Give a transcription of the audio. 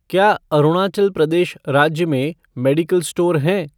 क्या अरुणाचल प्रदेश राज्य में मेडिकल स्टोर हैं?